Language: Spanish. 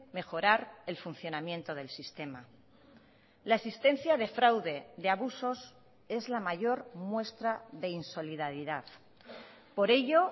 mejorar el funcionamiento del sistema la existencia de fraude de abusos es la mayor muestra de insolidaridad por ello